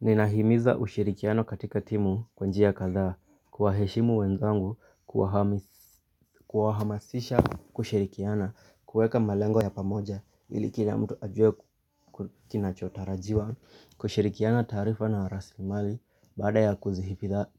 Ninahimiza ushirikiano katika timu kwa njia kadhaa, kuwa heshimu wenzangu kuwahamasisha kushirikiana, kuweka malengo ya pamoja ili kila mtu ajue kinachotarajiwa kushirikiana tarifa na rasilimali baada ya